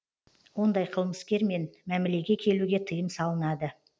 ондай қылмыскермен мәмілеге келуге тыйым салынады